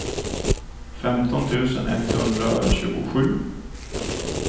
femton tusen etthundratjugosju